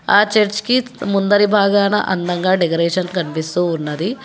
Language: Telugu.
ఆ చర్చ్ కి ముందరి భాగాన అందంగా డెకరేషన్ కనిపిస్తూ ఉన్నది.